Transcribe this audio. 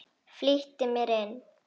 Flýtti mér inn.